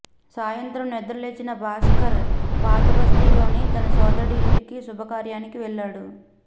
సాయంత్రం నిద్రలేచిన భాస్కర్ పాతబస్తీలోని తన సోదరుడి ఇంటికి శుభకార్యానికి వెళ్లాడు